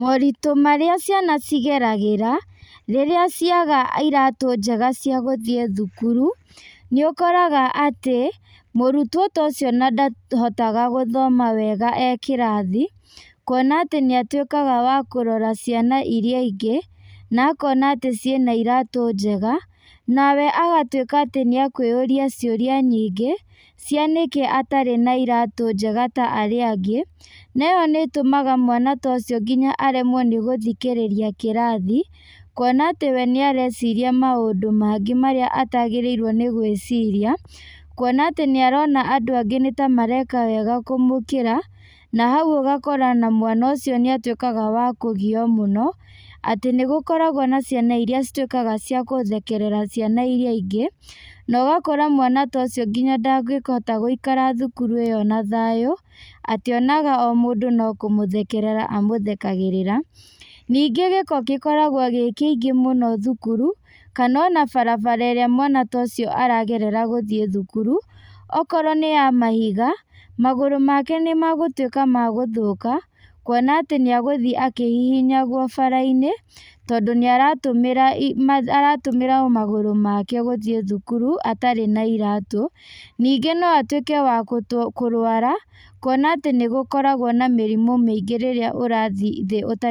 Moritũ marĩa ciana cigeragĩra, rĩrĩa ciaga iratũ njega ciagũthiĩ thukuru, nĩũkoraga atĩ, mũrutwo ta ũcio ona ndahotaga gũthoma wega ekĩrathi, kuona atĩ nĩatuĩkaga wa kũrora ciana iria ingĩ, na akona atĩ ciĩna iratũ njega, na we agatuĩka atĩ nĩakwĩyũria ciũria nyingĩ, cia nĩkĩĩ atarĩ na iratũ njega ta arĩa angĩ, na ĩyo nĩtũmaga mwana ta ũcio nginya aremwo nĩgũthikĩrĩria kĩrathi, kuona atĩ we nĩareciria maũndũ mangĩ marĩa atĩgĩrĩirwo nĩ gwĩciria, kuona atĩ nĩarona andũ angĩ nĩtamareka wega kũmũkĩra, na hau ũgakora namwana ũcio nĩatuĩkaga wa kũgio mũno, atĩ nĩgũkoragwo na ciana iria cituĩkaga cia gũthekerera ciana iria ingĩ, na ũgakora mwana ta ũcio nginya ndangĩhota gũikara thukuru ĩyo na thayũ, atĩ onaga o mũndũ no kũmũthekerera amũthekagĩrĩra, ningĩ gĩko gĩkoragwo gĩ kĩingĩ mũno thukuru, kana ona barabara ĩrĩa mwana ta ũcio aragerera gũthiĩ thukuru, okorwo nĩyamahiga, magũrũ make nĩmagũtuĩka magũthũka, kuona atĩ nĩagũthiĩ akĩhihinyagwo barainĩ, tondũ nĩaratũmĩra ĩ ma aratũmĩra o magũrũ make gũthiĩ thukuru atarĩ na iratũ, ningĩ no atuĩke wa kũrwara, kuona atĩ nĩgũkoragwo na mĩrimũ mĩingĩ rĩrĩa ũrathiĩ thĩ ũtarĩ.